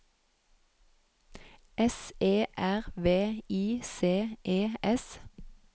S E R V I C E S